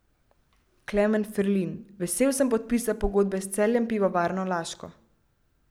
Klemen Ferlin: "Vesel sem podpisa pogodbe s Celjem Pivovarno Laško.